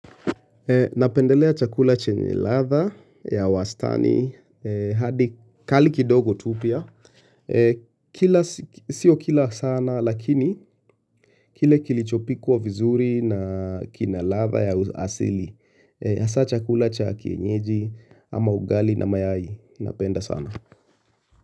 Napendelea chakula chenye ladha ya wastani hadi kali kidogo tu pia. Sio kila sana lakini kile kilichopikwa vizuri na kina ladha ya asili. Hasa chakula cha kienyeji ama ugali na mayai. Napenda sana.